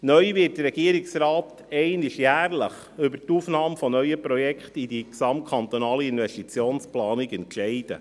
Neu wird der Regierungsrat einmal jährlich über die Aufnahme neuer Projekte in die GKIP entscheiden.